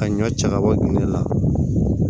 Ka ɲɔ cɛ ka bɔ ne la